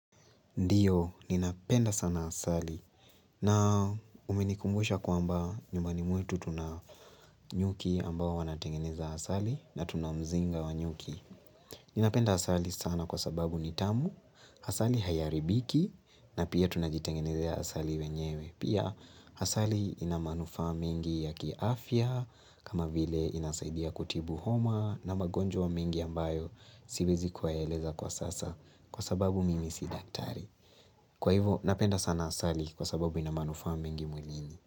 Ndiyo ninapenda sana asali na umenikumbusha kwamba nyumbani mwetu tuna nyuki ambao wanatengeneza asali na tunamzinga wa nyuki ninapenda asali sana kwa sababu ni tamu asali haiharibiki na pia tunajitengenezea asali wenyewe pia asali inamanufaa mengi ya kiafya kama vile inasaidia kutibu homa na magonjwa mengi ambayo siwezi kuwaeleza kwa sasa kwa sababu mimi si daktari kwa hivyo napenda sana asali kwa sababu ina manufaa mengi mwilini.